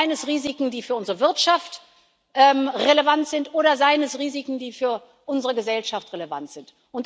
Seien es Risiken, die für unsere Wirtschaft relevant sind, oder seien es Risiken, die für unsere Gesellschaft relevant sind.